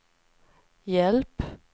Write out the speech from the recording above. hjälp